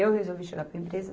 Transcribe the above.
Eu resolvi chegar para a empresa.